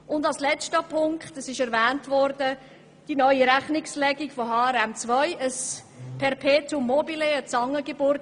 Zum letzten Punkt: Die neue Rechnungslegung mit HRM2 ist im Kanton Bern eine Perpetuum mobile oder eine Zangengeburt.